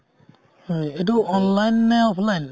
হয় এইটো online নে offline?